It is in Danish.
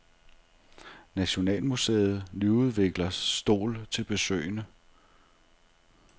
Nationalmuseet nyudvikler stol til besøgende.